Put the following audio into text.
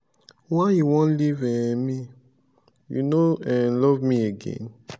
why you wan leave um me you no um love me again?